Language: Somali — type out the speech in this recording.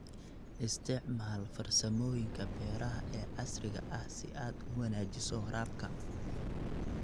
Isticmaal farsamooyinka beeraha ee casriga ah si aad u wanaajiso waraabka.